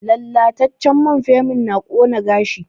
Lallatacen man ferming na ƙona gashi